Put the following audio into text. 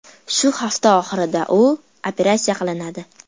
Shu hafta oxirida u operatsiya qilinadi.